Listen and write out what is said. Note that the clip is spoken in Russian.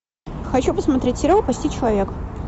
хочу посмотреть сериал почти человек